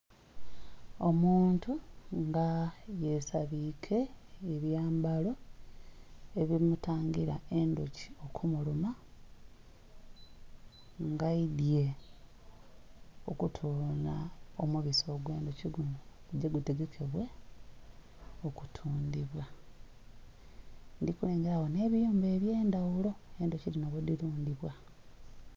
Omuntu nga yesabiike ebyambalo ebimutangira endhuki okumuluma nga aidhye okutola omubisi ogwo ndhuki guno gugye gutegekebwe okutundhibwa. Ndhikulegera gho ebiyumba ebyendhaghulo endhuki dhinho ghedhirudhibwa.